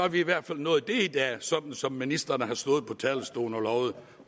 vi i hvert fald nået det i dag som som ministeren har stået på talerstolen og lovet